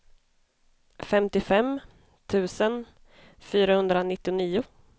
femtiofem tusen fyrahundranittionio